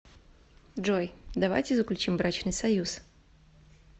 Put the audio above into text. джой давайте заключим брачный союз